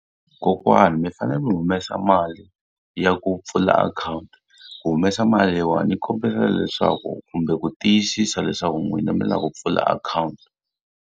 Kokwani mi fanele mi humesa mali ya ku pfula akhawunti. Ku humesa mali leyiwani ni kombela leswaku kumbe ku tiyisisa leswaku n'wina mi lava ku pfula akhawunti.